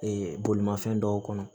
bolimafɛn dɔw kɔnɔ